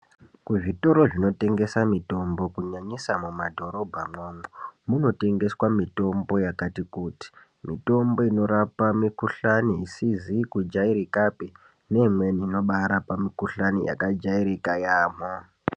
Kuzvitoro zvinotengesa mitombo kunyanyisa mumadhorobhamwo umwo munotengeswa mitombo yakati kuti. Mitombo inorapa mikuhlani isizi kujairikapi neimweni inobaarapa mikuhlani yakajairika yaamho.